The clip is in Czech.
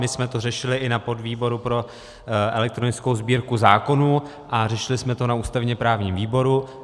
My jsme to řešili i na podvýboru pro elektronickou Sbírku zákonů a řešili jsme to na ústavně-právním výboru.